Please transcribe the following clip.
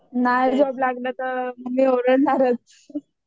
नाही जॉब लागलं तर मम्मी ओरडणारचं.